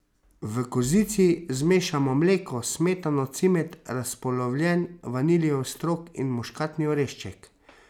V kozici zmešamo mleko, smetano, cimet, razpolovljen vaniljev strok in muškatni orešček.